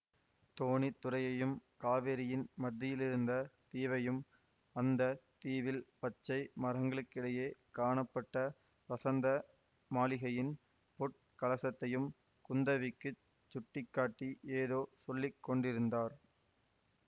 தோணித்துறையையும் காவேரியின் மத்தியிலிருந்த தீவையும் அந்த தீவில் பச்சை மரங்களுக்கிடையே காணப்பட்ட வசந்த மாளிகையின் பொற் கலசத்தையும் குந்தவிக்குச் சுட்டி காட்டி ஏதோ சொல்லி கொண்டிருந்தார்